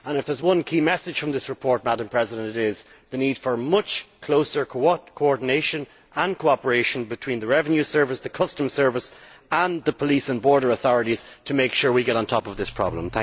If there is one key message from this report, it is the need for much closer coordination and cooperation between the revenue service, the customs service and the police and border authorities to make sure we get on top of this problem.